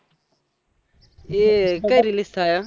એ કઈ release થાય એમ